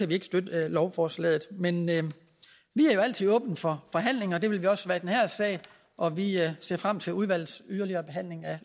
vi ikke støtte lovforslaget men men vi er jo altid åbne for forhandlinger det vil vi også være i den her sag og vi ser frem til udvalgets yderligere behandling af